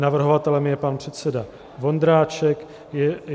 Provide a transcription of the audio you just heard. Navrhovatelem je pan předseda Vondráček.